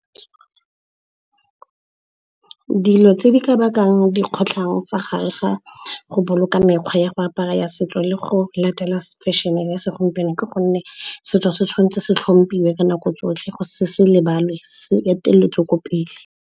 Dilo tse di ka bakang dikgotlhang fa gare ga go boloka mekgwa ya go apara ya setso le go latela fashion-e ya segompieno, ke gonne setso se tshwanetse se tlhompilwe ka nako tsotlhe, se se lebalwe, se eteletswe ko pele.